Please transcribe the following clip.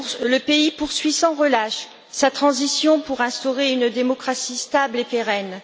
Le pays poursuit sans relâche sa transition pour instaurer une démocratie stable et pérenne.